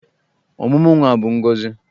Ọmụmụ nwa bụ ngọzị.